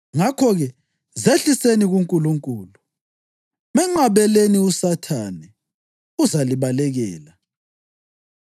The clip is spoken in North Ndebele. Ngakho-ke, zehliseni kuNkulunkulu. Menqabeleni uSathane, uzalibalekela.